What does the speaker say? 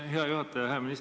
Aitäh, hea juhataja!